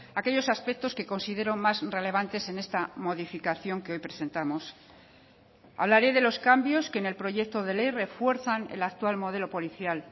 aquellos aspectos que considero más relevantes en esta modificación que hoy presentamos hablaré de los cambios que en el proyecto de ley refuerzan el actual modelo policial